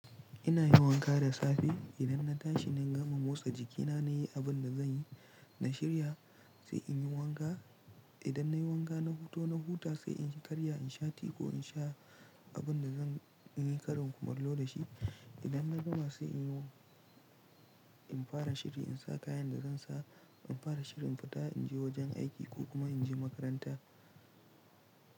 Ina yin wanka da safe. Idan na tashi na gama motsa jikina na yi abin da zan yi. Na shirya, sai in yi wanka. Idan na yi wanka na fito na huta sai in yi karya in sha tea ko in sha abin da zan yi karen kumalo da shi. Idan na gama sai in yi wa, in fara shiri in sa kayan da zan sa. In fara shiri in fita in je wajen aiki ko kuma in je makaranta.